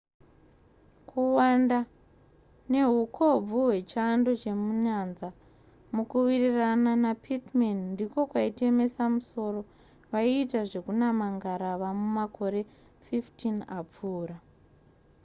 kuwanda nehukobvu hwechando chemunyanza mukuwirirana napittman ndiko kwaitemesa musoro vaiita zvekunama ngarava mumakore 15 apfuura